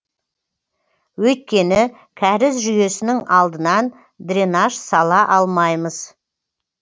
өйткені кәріз жүйесінің алдынан дренаж сала алмаймыз